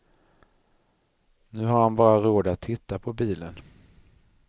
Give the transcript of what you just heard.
Nu har han bara råd att titta på bilen.